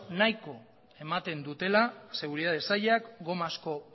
nahiko ematen dutela seguritate saiak gomazko